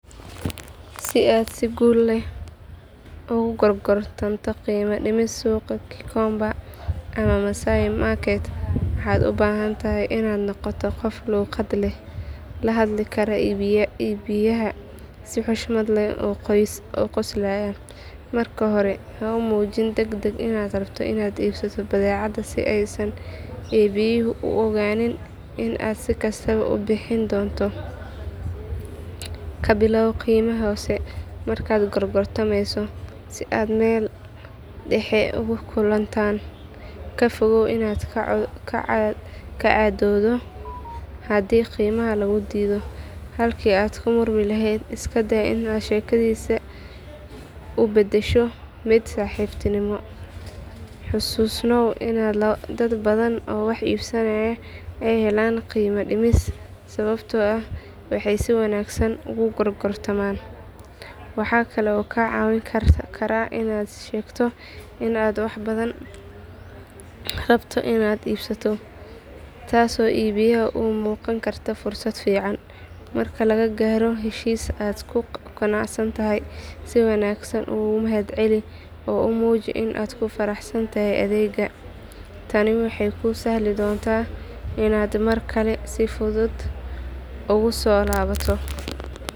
Si aad si guul leh ugu gorgortanto qiimo dhimis suuqa Gikomba ama Masaai Market waxaad u baahan tahay inaad noqoto qof dulqaad leh, la hadli kara iibiyaha si xushmad leh oo qoslaya. Marka hore ha muujin degdeg inaad rabto inaad iibsato badeecadda si aysan iibiyuhu u ogaanin in aad si kastaba u bixin doonto. Ka bilow qiime hoose markaad gorgortamayso si aad meel dhexe ugu kulantaan. Ka fogow inaad ka cadhoodo haddii qiimaha lagu diido, halkii aad ka murmi lahayd isku day inaad sheekeysiga u beddesho mid saaxiibtinimo. Xusuusnow in dad badan oo wax iibsada ay helaan qiimo dhimis sababtoo ah waxay si wanaagsan u gorgortamaan. Waxa kale oo kaa caawin kara inaad sheegto in aad wax badan rabto inaad iibsato, taasoo iibiyaha u muuqan karta fursad fiican. Marka la gaaro heshiis aad ku qanacsan tahay, si wanaagsan u mahadceli oo muuji in aad ku faraxsan tahay adeegga. Tani waxay kuu sahli doontaa inaad mar kale si fudud ugu soo laabato.